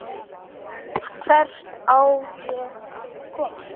Hvert á ég að koma?